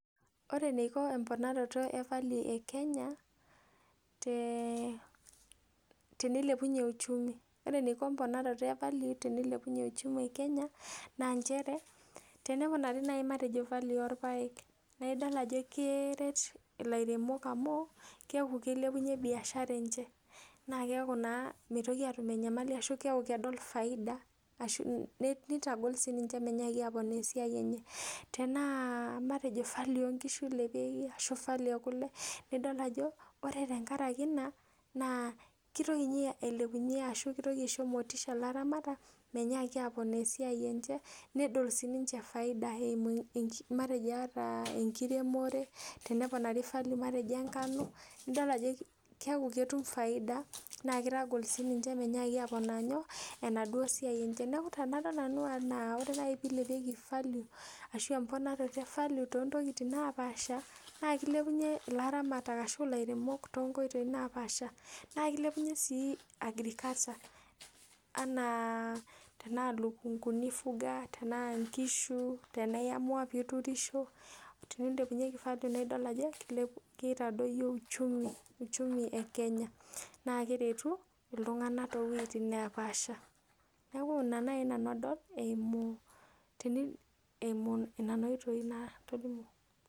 Ore eniko embonaroto e value e Kenya teneilepunye uchumi. Ore eniko embonaroto e value tenilepunye uchumi e Kenya naa nchere, tening'uraari naai matejo value orpaek naa idol ajo keret ilairemok amu keeku kilepunye biashara enche naa keeku naa mitoki aatum enyamali ashu keeku kedol faida ashu, nitagol siininche menyaaki aponaa esiai enye. Tenaa matejo value oo nkishu ilepieki ashu matejo value e kule, nidol ajo ore tenkaraki ina, naa kitoki ninye ailepunye ashu itoki aisho motisha ilaramatak menyaaki apoona esia enche nedol siininche faida eimu matejo ata enkiremore, teneponaari valur matejo e ngano, nido ajo keeku ketum faida naa kitagol ninche ninche menyaaki aponaa inyoo, enaduo siai enche. Neeku tenadol nanu aa ore naai piilepieki value ashu emponaroto e value too ntokiting naapaasha naa kilepunye ilaramatak ashuu ilairemok toonkoitoi naapaasha. Naa kilepunye sii agriculture anaa tenaa ilukunkuni ifuga, tenaa nkishu, tenaa iamua pee iturisho, teneilepunyeki value naa idol ajo kitadoyio uchumi e Kenya naa keretu iltung'anak too wueitin neepaasha. Neeku ina naai nanu adol eimu nena oitoi natolimwo